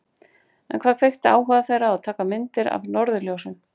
En hvað kveikti áhuga þeirra á að taka myndir af norðurljósum?